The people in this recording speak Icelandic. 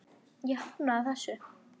Ég hafnaði þessu.